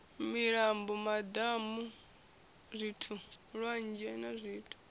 milambo madamu lwanzhe na zwithu